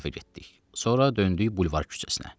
Sonra döndük Bulvar küçəsinə.